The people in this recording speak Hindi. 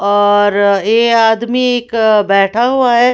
और ये आदमी एक अ बैठा हुआ है।